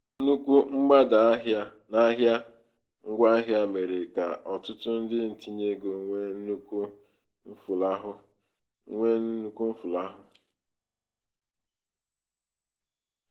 nnukwu mgbada n'ahịa ngwaahịa mere ka ọtụtụ ndị ntinyeego nwee nnukwu mfulahụ. nwee nnukwu mfulahụ.